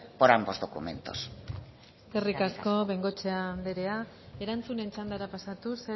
por ambos documentos eskerrik asko de bengoechea andrea erantzunen txandara pasatuz